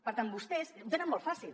per tant vostès ho tenen molt fàcil